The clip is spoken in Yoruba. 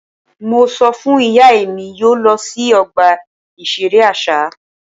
Mo sọ fun iya Emi yoo lọ si ọgba iṣere aṣa.